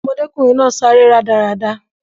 Ọmọdékùnrin náà sáré rádaràda